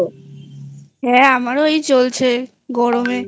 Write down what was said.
হ্যাঁ আমারও এই চলছে গরমেI